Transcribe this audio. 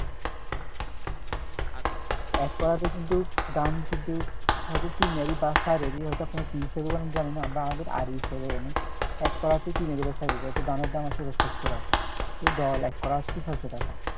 এক কড়াতে কিন্তু ধান কিন্তু হয়তো তিন হাড়ি বা চার হাড়ি হয়তো আপনার কি হিসেবে ধরেন আমরা জানি না আমরা আমাদের আড়ি হিসেবে জানি এক কড়াতে তিন আড়ি বা চার আড়ি হয়তো ধানের দাম আসছে চারশো টাকা তো দল এককড়া আসছে ছয়শ টাকা